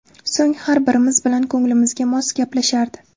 So‘ng har birimiz bilan ko‘nglimizga mos gaplashardi.